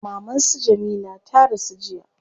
Maman su Jamila ta rasu jiya